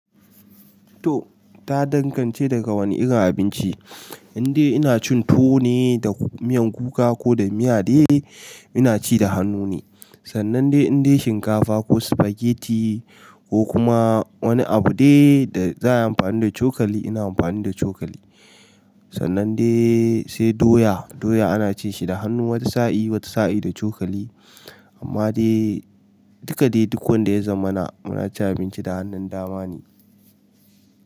To ta danganci daga wani irin abinci, indai ina cin tuwo ne da miyan kuka ko da miya dai ina ci da hannu ne. Sannan dai indai shinkafa ko sufageti ko kuma wani abu dai da za'ayi amfani da cokali ina anfani da cokali. Sannan dai sai doya, doya ana cin shi da hannu wata sa'i, wata sa'i da cokali. Amma dai duka dai duk wanda ya zamana muna cin abinci da hannun dama ne.